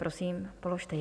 Prosím, položte ji.